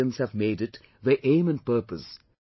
Some Indians have made it their aim and purpose